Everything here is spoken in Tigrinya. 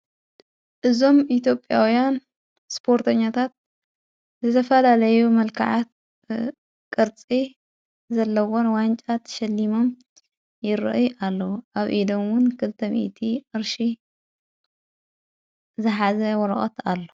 እዞም ኢቴጴያውያን ስጶርተኛታት ዘዘፋ ላለዩ መልከዓት ቐርፀ ዘለዎን ዋንጫ ተሸሊሞም ይርአ ኣለዉ ኣብ ኢዶዉን ክልተሚእቲ ቅርሺ ዘኃዘይ ወረቀት ኣሎ፡፡